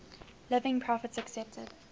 living prophets accepted